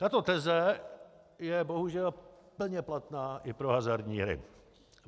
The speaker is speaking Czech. Tato teze je bohužel plně platná i pro hazardní hry.